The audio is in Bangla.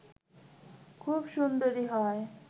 খুব সুন্দরী হয়